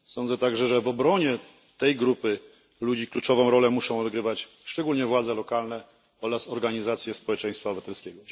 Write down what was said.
Sądzę także, że w obronie tej grupy ludzi kluczową rolę muszą odgrywać szczególnie władze lokalne oraz organizacje społeczeństwa obywatelskiego.